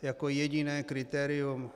Jako jediné kritérium.